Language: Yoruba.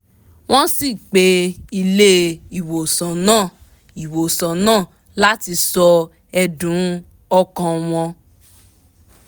wọ́n sì pé ilé ìwòsàn náà ìwòsàn náà láti sọ ẹ̀dùn ọkàn wọn